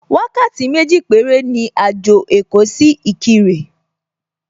Wákàtí méjì péré ni àjò èkó sí Ìkirè